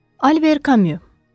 Albert Camus.